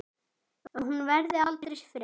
Að hún verði aldrei frjáls.